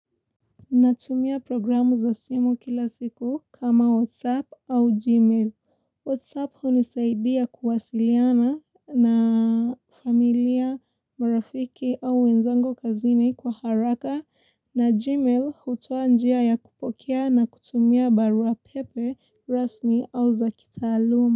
Natumia programu za simu kila siku kama WhatsApp au Gmail. WhatsApp hunisaidia kuwasiliana na familia, marafiki au wenzangu kazini kwa haraka na Gmail hutoa njia ya kupokea na kutumia barua pepe rasmi au zakitaaluma.